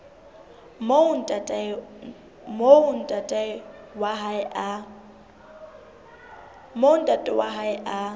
moo ntate wa hae a